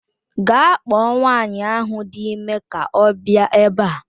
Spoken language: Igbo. Gaa kpọọ nwaanyị ahu dị ime ka ọ bịa ebe a